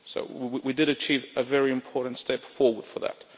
So we did achieve a very important step forward for that.